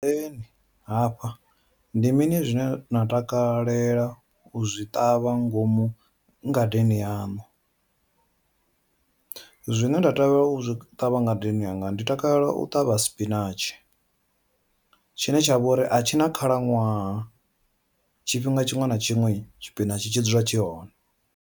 Hafha ndi mini zwine na takalela u zwi ṱavha ngomu ngadeni yaṋu, zwine nda takalela u zwi ṱavha ngadeni yanga ndi takalela u ṱavha sipinatshi, tshine tshavha uri a tshina khalaṅwaha tshifhinga tshiṅwe na tshiṅwe tshipinatshi tshi dzula tshi hone.